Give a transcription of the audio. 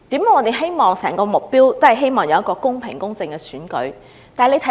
為何我們都希望有公平公正的選舉？